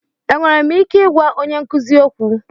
Enwere m ike ịgwa onye nkuzi okwu?